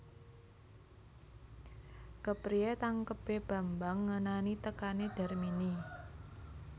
Kepriyé tangkebé Bambang ngenani tekané Darmini